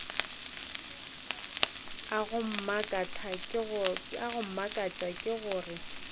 go mmakatša ke gore batho